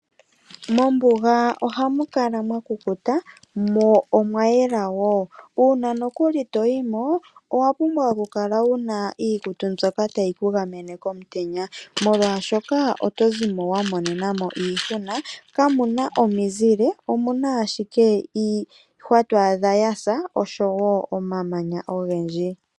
Mombuga oha mukala mwakukuta, mo omwayela, ngele toyimo owa pumbwa oku kala wuna iikutu mbyoka ta yi kugamene komutenya, oshoka oto zimo wamonenamo iihuna. Kamuna omizile, omuna ashike iihwa to adha yasa nomamanya ogendji.